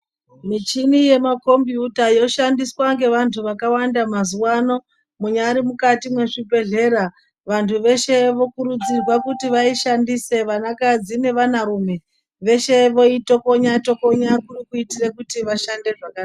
Michini yemakhombiyuta yoshandiswange vantu ngevakawanda mazuwa ano munyari mukati mwezvibhedhlera vantu veshe vokurudzirwa kuti vaishandise vana kadzi nevana rume veshe voitokonya tokonya kuri kuitire kuti vashande zvakanaka.